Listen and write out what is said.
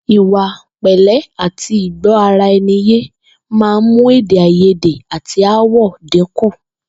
Ìwà pè̩lé̩ àti ìgbó̩-ara-e̩ni-yé máa ń mú èdè-àìyédè àti aáwò̩ dínkù